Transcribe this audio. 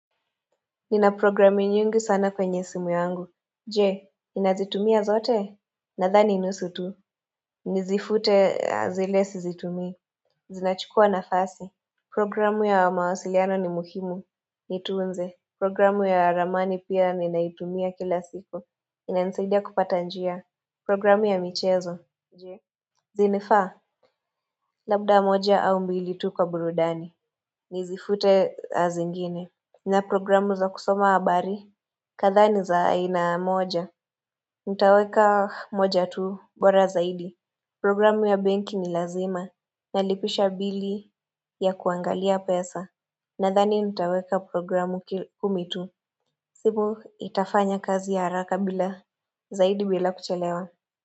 Nina programu nyingi sana kwenye simu yangu Je, ninazitumia zote Nadhani nusu tu Nizifute zile sizitumii Zinachukua nafasi Programu ya mawasiliano ni muhimu Nitunze Programu ya ramani pia ninaitumia kila siku inanisaidia kupata njia Programu ya michezo Je zinafaa Labda moja au mbili tu kwa burudani Nizifute zingine Nina programu za kusoma habari kadhaa ni za aina moja. Nitaweka moja tu bora zaidi. Programu ya benki ni lazima. Nalipisha bili ya kuangalia pesa. Nadhani nitaweka programu kumi tu. Simu itafanya kazi ya haraka bila zaidi bila kuchelewa.